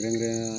Kɛrɛnkɛrɛn